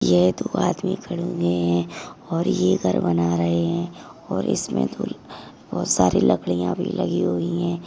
ये दो आदमी खड़े हुए है और ये घर बना रहे है और इसमे थोड़ी बहुत सारी लकड़िया भी लगी हुई है